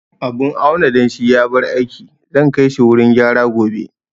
Abun auna danshi ya bar aiki, zan kai shi wurin gyara gobe